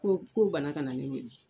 Ko k'o banna ka na ne wele.